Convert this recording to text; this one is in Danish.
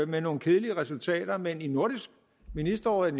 med nogle kedelige resultater men i nordisk ministerråd er